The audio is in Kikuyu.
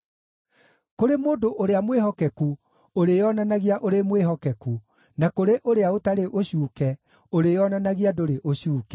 Kũrĩ mũndũ ũrĩa mwĩhokeku ũrĩĩonanagia ũrĩ mwĩhokeku, na kũrĩ ũrĩa ũtarĩ ũcuuke ũrĩĩonanagia ndũrĩ ũcuuke,